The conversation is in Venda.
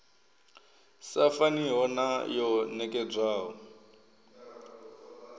sa faniho na yo nekedzwaho